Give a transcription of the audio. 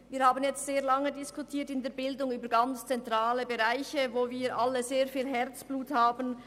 Wir haben jetzt sehr lange über ganz zentrale Bereiche der Bildung diskutiert, für die wir sehr viel Herzblut haben.